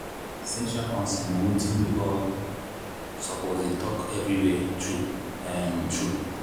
sexual consent na watin we all suppose dey talk everywhere true um true.